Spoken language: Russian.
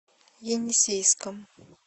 енисейском